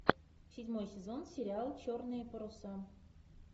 седьмой сезон сериал черные паруса